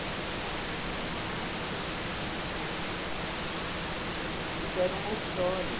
Como é que era, assim, o rádio, você entrou num estúdio de rádio? Como é que foi isso? Então, era um auditório